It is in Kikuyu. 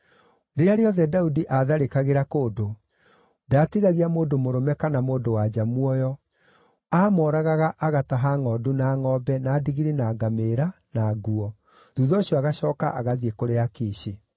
Rĩrĩa rĩothe Daudi aatharĩkagĩra kũndũ, ndaatigagia mũndũ mũrũme kana mũndũ-wa-nja muoyo, aamoragaga agataha ngʼondu na ngʼombe, na ndigiri na ngamĩĩra, na nguo. Thuutha ũcio agacooka agathiĩ kũrĩ Akishi.